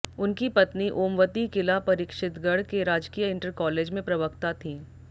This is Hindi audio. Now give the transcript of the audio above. उनकी पत्नी ओमवती किला परीक्षितगढ़ के राजकीय इंटर कॉलेज में प्रवक्ता थीं